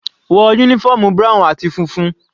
Wọ uniform brown àti funfun.